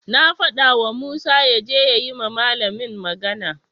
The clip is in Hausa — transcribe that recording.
Na fadawa Musa yaje ya yi wa malamin magana.